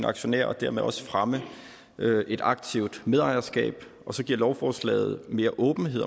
aktionærer og dermed også fremme et aktivt medejerskab så giver lovforslaget mere åbenhed